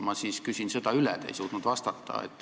Ma küsin seda üle, sest te ei suutnud vastata.